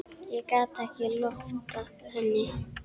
Ég gat ekki loftað henni.